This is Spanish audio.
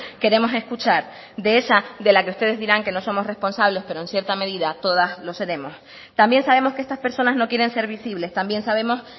queremos escuchar de esa de la que ustedes dirán que no somos responsables pero en cierta medida todas lo seremos también sabemos que estas personas no quieren ser visibles también sabemos